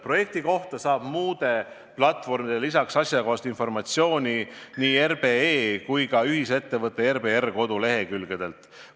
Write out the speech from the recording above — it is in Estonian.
Projekti kohta saab peale muude platvormide asjakohast informatsiooni ka RBE ja ühisettevõtte RBR kodulehekülgedelt.